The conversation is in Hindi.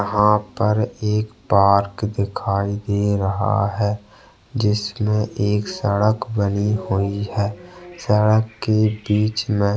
यहाँ पर एक पार्क दिखाई दे रहा है जिसमे एक सड़क बनी हुई है सड़क के बिच में--